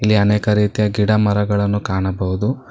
ಇಲ್ಲಿ ಅನೇಕ ರೀತಿಯ ಗಿಡ ಮರಗಳನ್ನು ಕಾಣಬಹುದು.